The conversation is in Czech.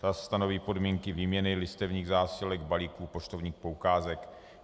Ta stanoví podmínky výměny listovních zásilek, balíků, poštovních poukázek.